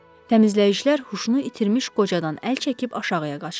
Təmizləyicilər huşunu itirmiş qocadan əl çəkib aşağıya qaçdılar.